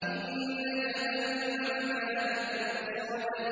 إِنَّ جَهَنَّمَ كَانَتْ مِرْصَادًا